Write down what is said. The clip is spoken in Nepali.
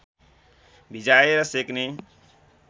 भिजाएर सेक्ने